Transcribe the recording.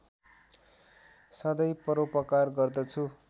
सधैं परोपकार गर्दछु